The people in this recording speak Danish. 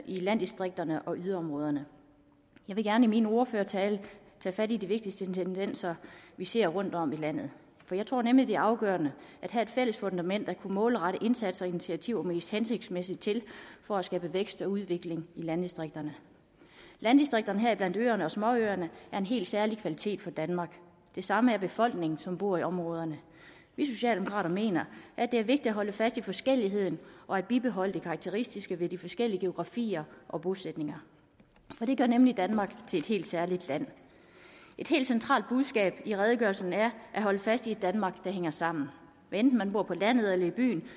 i landdistrikterne og yderområderne jeg vil gerne i min ordførertale tage fat i de vigtigste tendenser vi ser rundtom i landet jeg tror nemlig det er afgørende at have et fælles fundament til at kunne målrette indsatser og initiativer mest hensigtsmæssigt for at skabe vækst og udvikling i landdistrikterne landdistrikterne heriblandt øerne og småøerne er en helt særlig kvalitet for danmark det samme er befolkningen som bor i områderne vi socialdemokrater mener at det er vigtigt at holde fast i forskelligheden og at bibeholde det karakteristiske ved de forskellige geografier og bosætninger det gør nemlig danmark til et helt særligt land et helt centralt budskab i redegørelsen er at holde fast i et danmark der hænger sammen hvad enten man bor på landet eller i byen